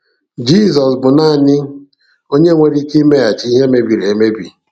Jesus bụ naanị onye nwere ike iweghachi ihe mebiri emebi.